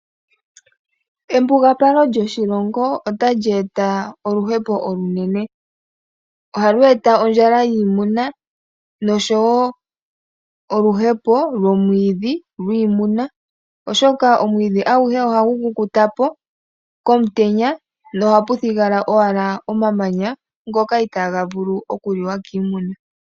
Embugapalo lyoshilongo otali eta oluhepo olunene. Ohalu eta ondjala yiimuna noshowo oluhepo lwomwiidhi lwiimuna, oshoka omwiidhi aguhe ohagu kukuta po komutenya nohapu thigala owala omamanya ngoka itaaga vulu okuliwa kiimuna.